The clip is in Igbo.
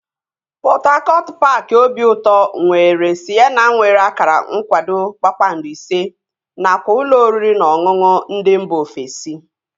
Pọt Hakọt paaki obiụtọ nwere sịnema nwere akara nkwado kpakpando ise nakwa ụlọ oriri na ọṅụṅụ ndị mba ofesi